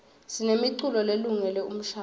sinemiculo lelungele umshadvo